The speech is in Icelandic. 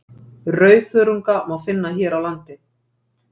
rauðþörunga má finna hér á landi